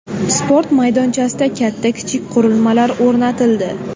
Sport maydonchasida katta-kichik qurilmalar o‘rnatildi.